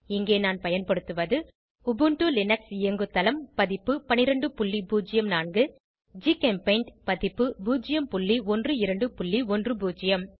இங்கே நான் பயன்படுத்துவது உபுண்டு லினக்ஸ் இயங்குதளம் பதிப்பு 1204 ஜிகெம்பெய்ண்ட் பதிப்பு 01210